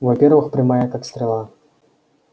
во-первых прямая как стрела